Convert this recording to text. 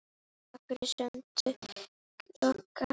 Takk fyrir samtöl okkar.